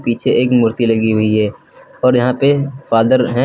पीछे एक मूर्ति लगी हुई है और यहां पे फादर है।